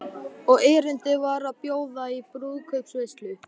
Og erindið var að bjóða í brúðkaupsveislu.